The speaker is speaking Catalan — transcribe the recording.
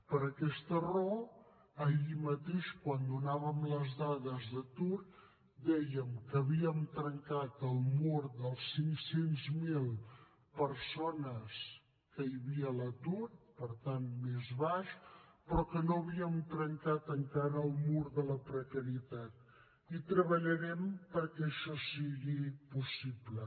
per aquesta raó ahir mateix quan donàvem les dades d’atur dèiem que havíem trencat el mur de les cinc cents miler persones que hi havia a l’atur per tant més baix però que no havíem trencat encara el mur de la precarietat i treballarem perquè això sigui possible